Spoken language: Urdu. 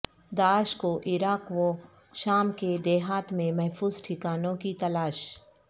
داعش کو عراق و شام کے دیہات میں محفوظ ٹھکانوں کی تلاش